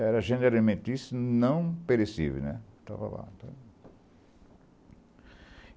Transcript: Era gênero alimentício, não perecível, né, estava lá